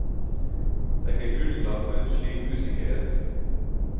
Det er ikke grunnlag for en slik usikkerhet.